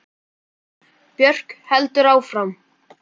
Björk heldur áfram.